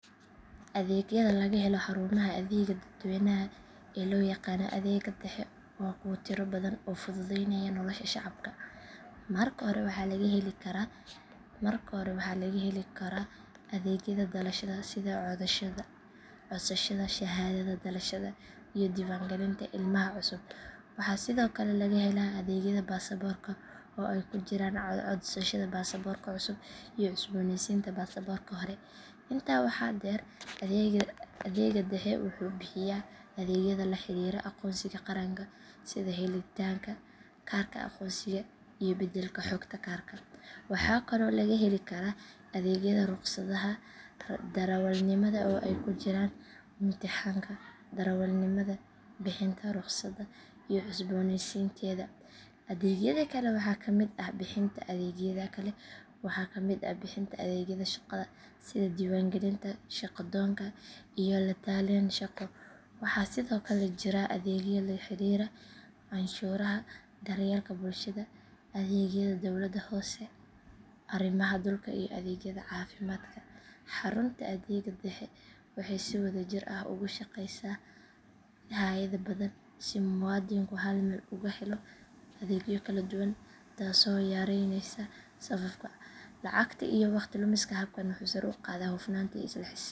Adeegyada laga helo xarumaha adeegga dadweynaha ee loo yaqaan adeegga dhexe waa kuwo tiro badan oo fududeynaya nolosha shacabka. Marka hore waxaa laga heli karaa adeegyada dhalashada sida codsashada shahaadada dhalashada iyo diiwaangelinta ilmaha cusub. Waxaa sidoo kale laga helaa adeegyada baasaboorka oo ay ku jiraan codsashada baasaboorka cusub iyo cusbooneysiinta baasaboorka hore. Intaa waxaa dheer adeegga dhexe wuxuu bixiyaa adeegyada la xiriira aqoonsiga qaranka sida helitaanka kaarka aqoonsiga iyo beddelka xogta kaarka. Waxaa kaloo laga heli karaa adeegyada rukhsadaha darawalnimada oo ay ku jiraan imtixaanka darawalnimada, bixinta rukhsadda iyo cusboonaysiinteeda. Adeegyada kale waxaa ka mid ah bixinta adeegyada shaqada sida diiwaangelinta shaqo-doonka iyo la-talin shaqo. Waxaa sidoo kale jira adeegyo la xiriira canshuuraha, daryeelka bulshada, adeegyada dowladda hoose, arrimaha dhulka iyo adeegyada caafimaadka. Xarunta adeegga dhexe waxay si wada jir ah ugu shaqeysaa hay’ado badan si muwaadinku hal meel uga helo adeegyo kala duwan taasoo yareynaysa safafka, lacagta iyo waqti lumiska. Habkani wuxuu sare u qaadaa hufnaanta iyo isla xisaabtanka dowladnimada.